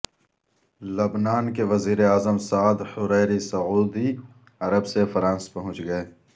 لبنان کے وزیراعظم سعد حریری سعودی عرب سے فرانس پہنچ گئے